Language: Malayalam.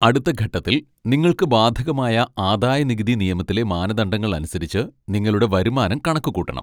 അടുത്ത ഘട്ടത്തിൽ നിങ്ങൾക്ക് ബാധകമായ ആദായനികുതി നിയമത്തിലെ മാനദണ്ഡങ്ങൾ അനുസരിച്ച് നിങ്ങളുടെ വരുമാനം കണക്കുകൂട്ടണം.